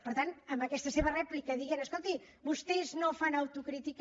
per tant amb aquesta seva rèplica dient escolti vostès no fan autocrítica